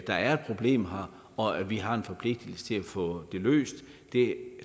der er et problem her og at vi har en forpligtigelse til at få det løst det